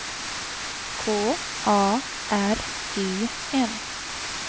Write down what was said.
K A R E N